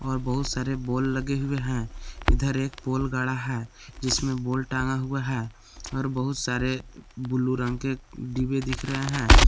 और बहुत सारे बोल लगे हुए हैं इधर एक पोल गाढ़ा है जिसमें बोल टांगा हुआ है और बहुत सारे ब्ल्यू रंग के डिब्बे दिख रहे है।